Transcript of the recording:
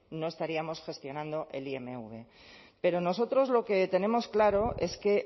no estaríamos gestionando el imv pero nosotros lo que tenemos claro es que